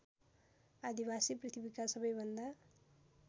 आदिवासी पृथ्वीका सबैभन्दा